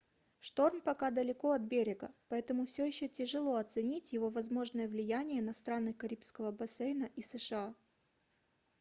шторм пока далеко от берега поэтому все еще тяжело оценить его возможное влияние на страны карибского бассейна и сша